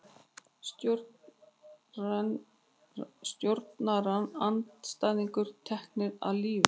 Stjórnarandstæðingar teknir af lífi